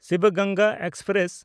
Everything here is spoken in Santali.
ᱥᱤᱵ ᱜᱚᱝᱜᱟ ᱮᱠᱥᱯᱨᱮᱥ